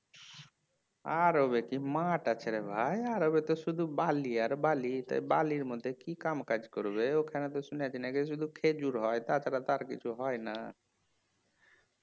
আরবে কি মাঠ আছে রে ভাই আরবে তো শুধু বালি আর বালি সেই বালির মধ্যে কি কাম কাজ করবে ওখানে তো শুনেছি নাকি শুধু খেজুর হয় তাছাড়া তো আর কিছু হয়না